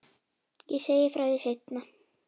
Ég segi frá því seinna.